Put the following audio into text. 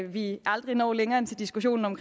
vi aldrig når længere end til diskussionen om